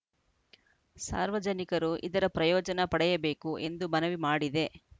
ಸಾರ್ವಜನಿಕರು ಇದರ ಪ್ರಯೋಜನ ಪಡೆಯಬೇಕು ಎಂದು ಮನವಿ ಮಾಡಿದೆ